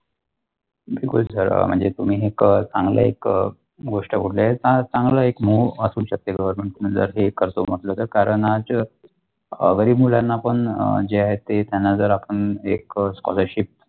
बिलकुल सगळं म्हणजे तुम्ही एकच चांगले एक गोष्ट बोलले चांगलं मो असू शकते म्हटलं के कारण आज तरी गरीब मुलाला पण जे आहे ते त्यांना जर आपण एक scholarship.